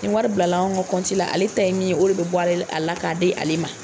Nin wari bilala anw ka la , ale ta ye min ye o de be bɔ a la ka a di ale ma.